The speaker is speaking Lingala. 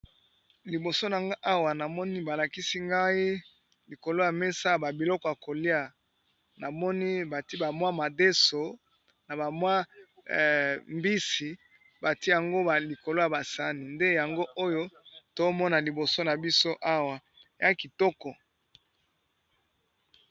Liboso nanga awa namoni balakisi ngai likolo ya mesa ya babiloko ya kolia, namoni bati bamwa madeso, na bamwa mbisi , bati yango ba likolo ya basani. Nde yango oyo tomona liboso na biso awa ya kitoko.